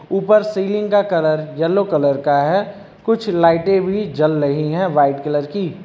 ऊपर सीलिंग का colour yellow colour का है कुछ लाइटें भी जल रही हैं वाइट कलर की।